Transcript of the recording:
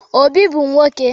Obi bu nwoke